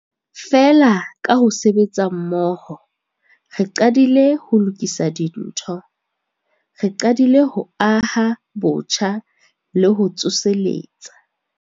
Feela, ka ho sebetsa mmoho, re qadile ho lokisa dintho. Re qadile ho aha botjha le ho tsoseletsa.